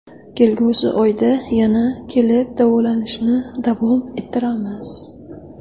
Kelgusi oyda yana kelib, davolanishni davom ettiramiz.